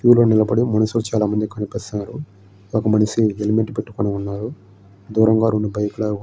Queue లో నిలబడి మనుషులు చాలామంది కనిపిస్తున్నారు. ఒక మనిషి హెల్మెట్ పెట్టుకొని వున్నారు. దూరంగా రెండు బైకు లు ఆగి వున్నాయి.